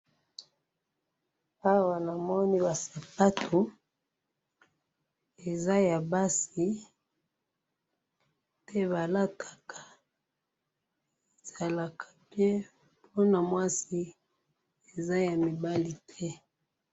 Awa namoni basapato, eza ya basi oyo balataka eza ya mibali te.